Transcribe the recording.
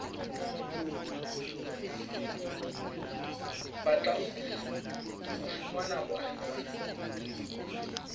batlang ho fumana boahi ba